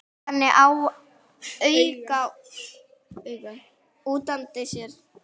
Gaf henni auga útundan sér.